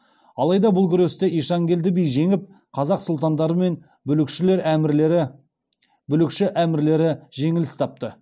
алайда бұл күресте ишанкелді би жеңіп қазақ сұлтандары мен бүлікші әмірлері жеңіліс тапты